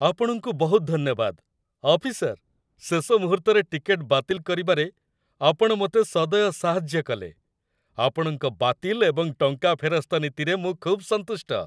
ଆପଣଙ୍କୁ ବହୁତ ଧନ୍ୟବାଦ, ଅଫିସର, ଶେଷ ମୁହୂର୍ତ୍ତରେ ଟିକେଟ୍ ବାତିଲ କରିବାରେ ଆପଣ ମୋତେ ସଦୟ ସାହାଯ୍ୟ କଲେ, ଆପଣଙ୍କ ବାତିଲ ଏବଂ ଟଙ୍କା ଫେରସ୍ତ ନୀତିରେ ମୁଁ ଖୁବ୍ ସନ୍ତୁଷ୍ଟ।